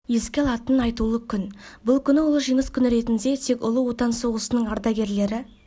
еске алатын айтулы күн бұл күн ұлы жеңіс күні ретінде тек ұлы отан соғысының ардагерлері